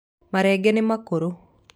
Marenge nĩmakũrũ